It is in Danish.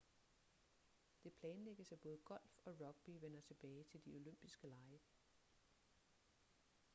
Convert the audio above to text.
det planlægges at både golf og rugby vender tilbage til de olympiske lege